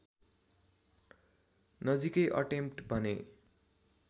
नजिकै अटेम्प्ट भने